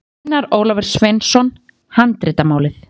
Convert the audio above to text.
Einar Ólafur Sveinsson, Handritamálið.